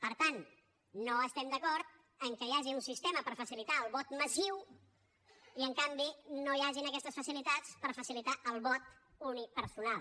per tant no estem d’acord que hi hagi un sistema per facilitar el vot massiu i en canvi no hi hagin aquestes facilitats per facilitar el vot unipersonal